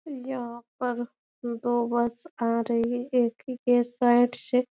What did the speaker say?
यहाँ पर दो बस आ रही है एक ही के साइड से ।